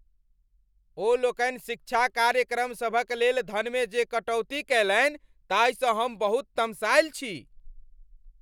ओ लोकनि शिक्षा कार्यक्रमसभक लेल धनमे जे कटौती कएलनि ताहिसँ हम बहुत तमसायल छी।